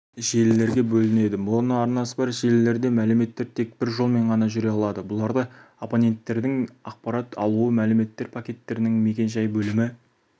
желілерге бөлінеді моноарнасы бар желілерде мәліметтер тек бір жолмен ғана жүре алады бұларда абоненттердің ақпарат алуы мәліметтер пакеттерінің мекен-жай бөлімі